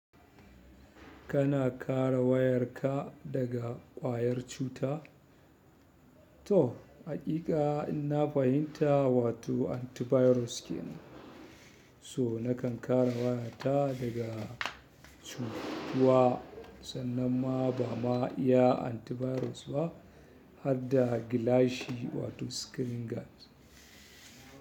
Kana kare wayarka daga ƙwayar cuta? To, haƙiƙa inna fahimta, wato antivirus ke nan. So nakan kare wayata daga cutuwa sannan ba ma iya antivirus ba har da gilashi wato screening gad.